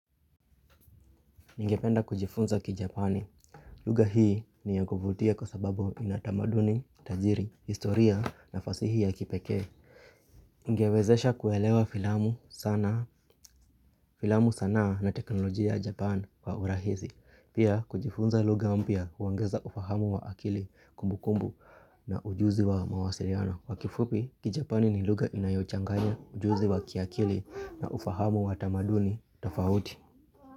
Ningependa kujifunza kijapani. Lugha hii ni ya kuvutia kwa sababu inatamaduni, tajiri, historia na fasihi ya kipekee. Ningewezesha kuelewa filamu sana na teknolojia japan wa urahisi. Pia kujifunza lugha mpya huongeza ufahamu wa akili kumbu kumbu na ujuzi wa mawasiliano. Kwa kifupi kijapani ni lugha inayochanganya ujuzi wa kiakili na ufahamu wa tamaduni tofauti.